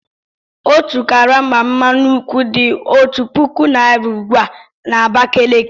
Otu karama mmanụ nkwụ dị otu puku naira ugbu a na Abakaliki.